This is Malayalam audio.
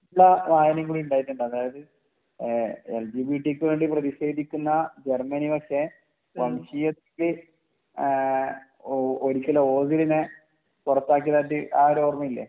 കാര്യങ്ങൾ ഉണ്ടായിട്ടുണ്ട് അതായത് ആഹ് പ്രധിഷേധിക്കുന്ന ജർമ്മനി പക്ഷെ വംശീയത്തിൽ ആഹ് ഒരിക്കലും ഇതിനെ പൊറത്താക്കിയതായിട്ട് ആ ഒരു ഓർമ ഇല്ലേ